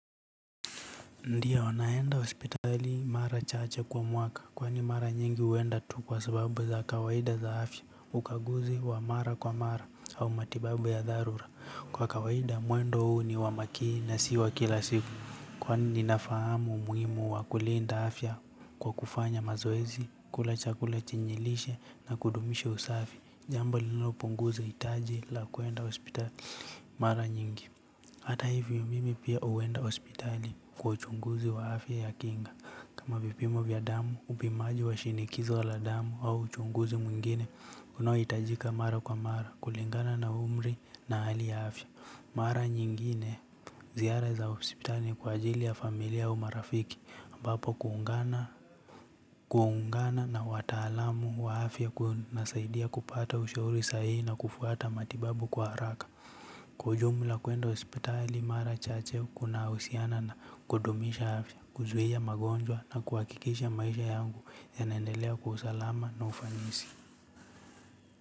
Ndia naenda hospitali mara chache kwa mwaka kwani mara nyingi huenda tu kwa sababu za kawaida za afya ukaguzi wa mara kwa mara au matibabu ya dharura kwa kawaida mwendo huu ni wa makini na si wa kila siku kwani ninafahamu umuhimu wa kulinda afya kwa kufanya mazoezi kula chakula chenye lishe na kudumisha usafi jambo lililopunguza hitaji la kuenda hospitali mara nyingi. Hata hivyo mimi pia huenda hospitali kwa uchunguzi wa afya ya kinga. Kama vipimo vya damu upimaji wa shinikizo la damu au uchunguzi mwingine unaohitajika mara kwa mara kulingana na umri na hali ya afya. Mara nyingine ziara za hospitali kwa ajili ya familia au marafiki ambapo kuungana na wataalamu wa afya kunasaidia kupata ushauri sahihi na kufuata matibabu kwa haraka. Kwa ujumla kuenda hospitali mara chache kunahusiana na kudumisha afya, kuzuia magonjwa na kuhakikisha maisha yangu yanaendelea kwa usalama na ufanisi.